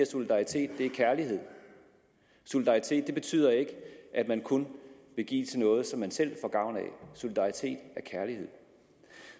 solidaritet er kærlighed solidaritet betyder ikke at man kun vil give til noget som man selv får gavn af solidaritet er kærlighed